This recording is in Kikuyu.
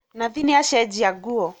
Nathi nĩacenjia nguo